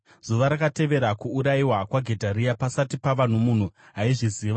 Zuva rakatevera kuurayiwa kwaGedharia, pasati pava nomunhu aizviziva,